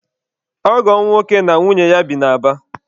Ọgọ m nwoke na nwunye ya bi na Aba.